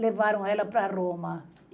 levaram ela para Roma.